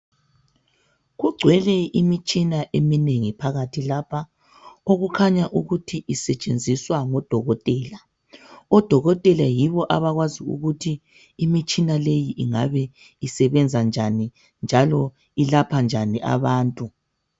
Kugcwele imitshina eminengi phakathi lapha okukhanya ukuthi isetshenziswa ngodokotela. Odokotela yibo abakwazi ukuthi imitshina leyi ingabe isebenza njani njalo ilapha njani abantu.